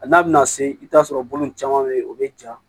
A n'a bɛna se i bɛ t'a sɔrɔ bolo in caman bɛ yen o bɛ ja